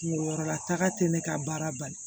Kungo yɔrɔ la taga tɛ ne ka baara bali